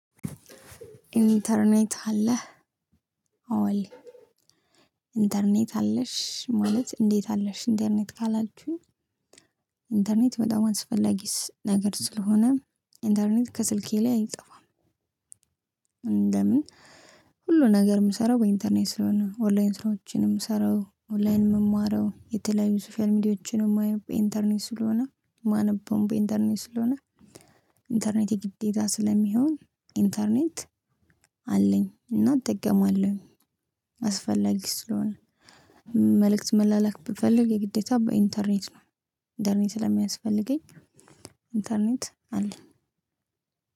እንተርኔት አለህ? አዎ አለኝ። እንተርኔት አለሽ ማለት እንዴት አለሽ ኢንተርኔት ካላችሁኝ። እንተርኔት በጣም አስፈላጊስ ነገር ስለሆነ እንተርኔት ከስልኬ ላይ አይጠፋም። እንደምን ሁሉ ነገር የምሰራው በእንተርኔት ስለሆነ ኦንላይን ስራዎችን የምሰራው ኦንላይን የምማረው የተለያዩ ሶሻል ሚዲያዎችን የማየው በእንተርኔት ስለሆነ የማነበውም በእንተርኔት ስለሆነ። እንተርኔት የግዴታ ስለሚሆን እንተርኔት አለኝ እና እጠቀማለሁ። አስፈላጊ ስለሆነ። መልእክት መላላክ ብፈልግ የግዴታ በእንተርኔት ነው። እንተርኔት ስለሚያስፈልገኝ እንተርኔት አለኝ።